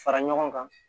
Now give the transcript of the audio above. Fara ɲɔgɔn kan